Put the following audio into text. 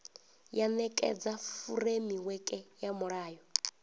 ya nekedza furemiweke ya mulayo